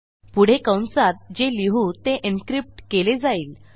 पुढे कंसात जे लिहू ते एन्क्रिप्ट केले जाईल